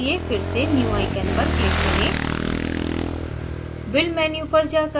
new window खोलने के लिए फिर से new icon पर click करें